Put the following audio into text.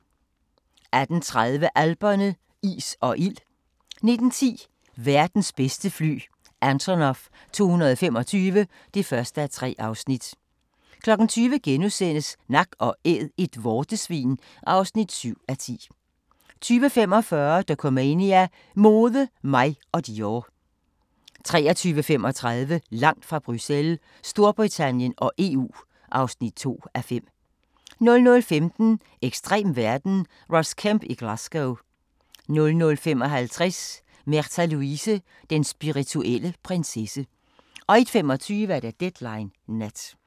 18:30: Alperne – ild og is 19:10: Verdens bedste fly – Antonov 225 (1:3) 20:00: Nak & Æd - et vortesvin (7:10)* 20:45: Dokumania: Mode, mig og Dior 23:35: Langt fra Bruxelles – Storbritannien og EU (2:5) 00:15: Ekstrem verden - Ross Kemp i Glasgow 00:55: Märtha Louise – Den spirituelle prinsesse 01:25: Deadline Nat